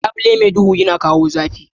Labule mai duhu yana kawo zafi.